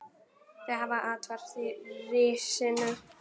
Þau hafa athvarf í risinu.